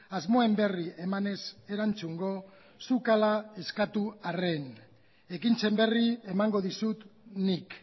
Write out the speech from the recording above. asmoen berri emanez erantzungo zuk ala eskatu arren ekintzen berri emango dizut nik